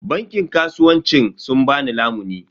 Bankin kasuwancin sun ba ni lamuni.